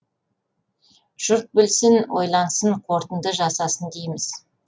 жұрт білсін ойлансын қорытынды жасасын дейміз